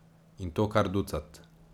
In to kar ducat.